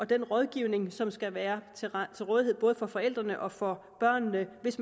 den rådgivning som skal være til rådighed både for forældrene og for børnene hvis